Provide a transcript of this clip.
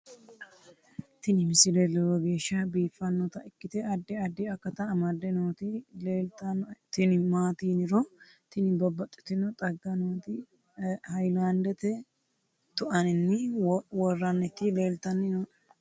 tini misile lowo geeshsha biiffannota ikkite addi addi akata amadde nooti leeltannoe tini maati yiniro tini babbaxitinno xagga nooti haylandete tu'anninni worraniti leltanni nooe